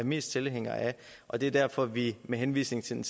mest tilhængere af og det er derfor at vi med henvisning til den